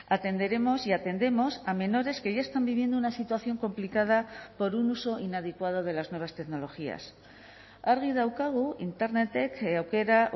atenderemos y atendemos a menores que ya están viviendo una situación complicada por un uso inadecuado de las nuevas tecnologías argi daukagu internetek aukera